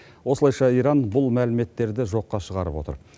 осылайша иран бұл мәліметтерді жоққа шығарып отыр